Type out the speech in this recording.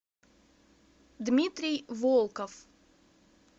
дмитрий волков